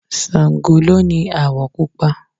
Sàngó ló ni àwọ̀ Pupa